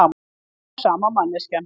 Ein og sama manneskjan.